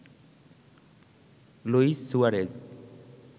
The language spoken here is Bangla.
Luis Suarez